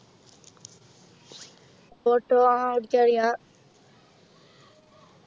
auto ആഹ് ഓടിക്കാൻ അറിയ